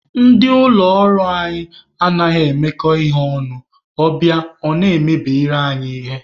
Ndị ụlọ ọrụ anyị anaghị emekọ ihe ọnụ, ọ bịa na-emebiri anyị ihe.